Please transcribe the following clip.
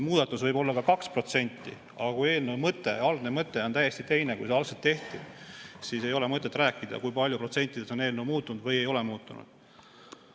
Muudatus võib-olla ka 2%, aga kui eelnõu mõte on täiesti teine, kui algselt oli, siis ei ole maksa rääkida, kui palju protsentides on eelnõu muutunud ja kui palju ei ole muutunud.